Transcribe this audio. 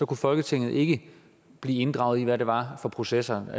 kunne folketinget ikke blive inddraget i hvad det var for processer